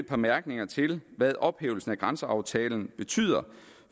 bemærkninger til hvad ophævelsen af grænseaftalen betyder